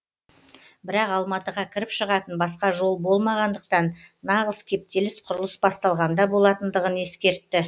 бірақ алматыға кіріп шығатын басқа жол болмағандықтан нағыз кептеліс құрылыс басталғанда болатындығын ескертті